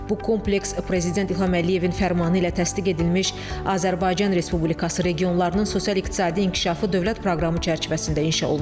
Bu kompleks Prezident İlham Əliyevin fərmanı ilə təsdiq edilmiş Azərbaycan Respublikası regionlarının sosial-iqtisadi inkişafı dövlət proqramı çərçivəsində inşa olunur.